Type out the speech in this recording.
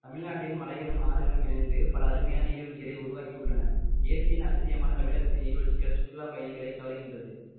தமிழ்நாட்டில் மலைகளும் ஆறுகளும் இணைந்து பல அருமையான நீர்வீழ்ச்சிகளை உருவாக்கியுள்ளன இயற்கையின் அதிசயமான தமிழகத்தின் நீர்வீழ்ச்சிகள் சுற்றுலா பயணிகளை கவர்கின்றது